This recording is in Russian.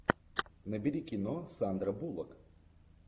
набери кино сандра буллок